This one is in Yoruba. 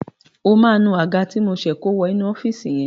O máa nu Àga ti mo ṣe kó wọ inú ọ́fíìsì yẹn.